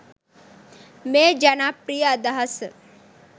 මේ ජනප්‍රිය අදහස